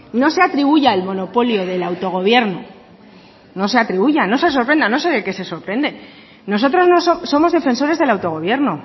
no se atribuya el monopolio del autogobierno no se atribuyan no sé sorprenda no sé de qué se sorprenden nosotros somos defensores del autogobierno